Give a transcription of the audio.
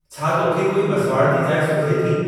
छा तोखे कोई मसवाड़ जी जाइ सुझे थी?